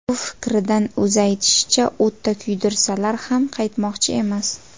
Bu fikridan, o‘zi aytishicha, o‘tda kuydirsalar ham qaytmoqchi emas.